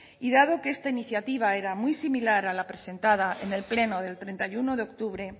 y dado que esta iniciativa era muy similar a la presentada en el pleno del treinta y uno de octubre